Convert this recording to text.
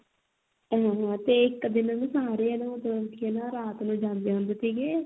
ਹਾਂ ਹਾਂ ਤੇ ਇੱਕ ਦਿਨ ਸਾਰੇ ਨਾ ਮਤਲਬ ਕੀ ਹਨਾ ਰਾਤ ਨੂੰ ਜਾਂਦੇ ਹੁੰਦੇ ਸੀਗੇ